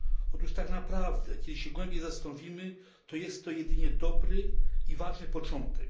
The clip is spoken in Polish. Otóż tak naprawdę, jeśli się głębiej zastanowimy, to jest to jedynie dobry i ważny początek.